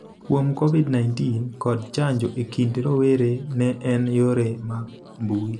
kuom Covid-19 kod chanjo e kind rowere ne en yore mag mbui,